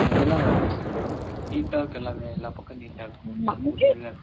Neat டா இருக்கும் எல்லாமே, எல்லா பக்கமும் neat டா இருக்கும்.